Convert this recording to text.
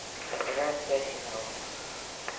операция финал